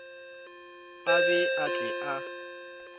a be a tle a